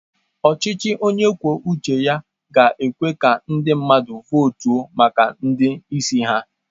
Ọchịchị onye kwuo uche ga-ekwe ka ndị mmadụ votu maka ndị isi ha.